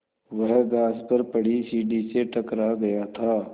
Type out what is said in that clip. वह घास पर पड़ी सीढ़ी से टकरा गया था